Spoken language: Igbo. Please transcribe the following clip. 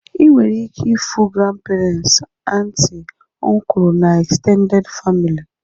Ị nwere ike ịfụ granperens, anti na ọnkulu na egztended famili